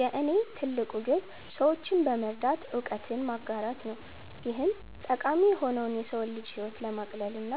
የእኔ ትልቁ ግብ ሰዎችን በመርዳት እውቀትን ማጋራት ነው። ይህም ጠቃሚ የሆነው የሰው ልጅን ህይወት ለማቅለልና